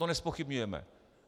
To nezpochybňujeme.